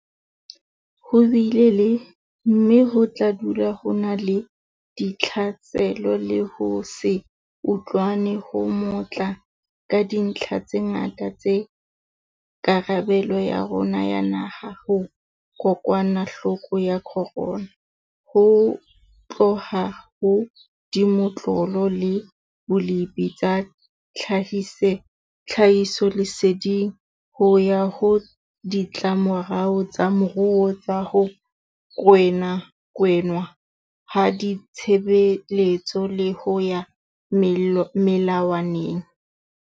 Ho bile le, mme ho tla dula ho na le, ditlhaselo le ho se utlwane ho matla ka dintlha tse ngata tsa karabelo ya rona ya naha ho kokwanahloko ya corona, ho tloha ho dimotlolo le bolepi tsa tlhahisoleseding, ho ya ho ditlamorao tsa moruo tsa ho kginwa ha ditshebeletso le ho ya melawaneng.